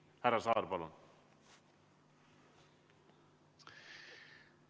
Härra Saar, palun!